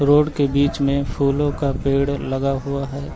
Road के बीच में फूलों का पेड़ लगा हुआ है।